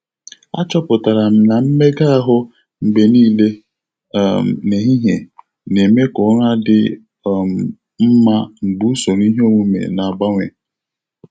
Achọpụtara m na mmega ahụ mgbe niile um n'ehihie na-eme ka ụra dị um mma mgbe usoro iheomume na-agbanwe.